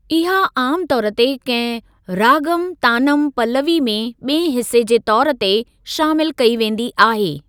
इहा आम तौर ते कहिं रागम तानम पल्‍लवी में ॿिएं हिसे जे तौर ते शामिल कई वेंदी आहे।